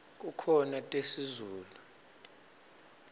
kukhona tesizulu